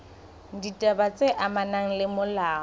ditaba tse amanang le molao